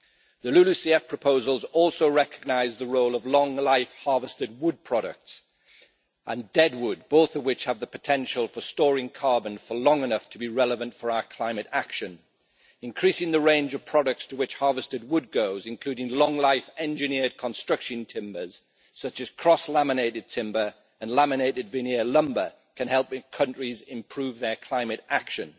The LULUCF proposals also recognise the role of long life harvested wood products and deadwood, both of which have the potential for storing carbon for long enough to be relevant for our climate action. Increasing the range of products to which harvested wood goes, including long life engineered construction timbers, such as cross laminated timber and laminated veneer lumber, can help countries improve their climate action.